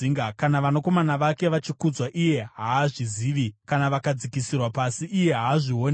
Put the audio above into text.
Kana vanakomana vake vachikudzwa, iye haazvizivi; kana vakadzikisirwa pasi, iye haazvioni.